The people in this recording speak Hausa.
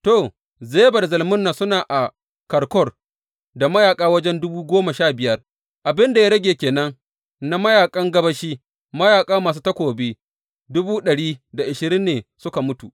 To, Zeba da Zalmunna suna a Karkor da mayaƙa wajen dubu goma sha biyar, abin da ya rage ke nan na mayaƙan gabashi; mayaƙa masu takobi dubu ɗari da ashirin ne suka mutu.